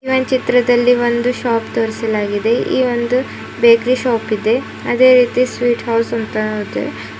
ಈ ಒಂದ್ ಚಿತ್ರದಲ್ಲಿ ಒಂದು ಶಾಪ್ ತೋರಿಸಲಾಗಿದೆ ಈ ಒಂದು ಬೇಕರಿ ಶಾಪ್ ಇದೆ ಅದೇ ರೀತಿ ಸ್ವೀಟ್ ಹೌಸ್ ಅಂತ ಅದೆ.